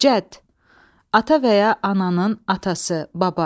Cədd, ata və ya ananın atası, baba.